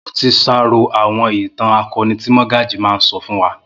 Mo ti sàárò àwọn ìtàn akọni tí Mọ́gàjí máa ń sọ fún wa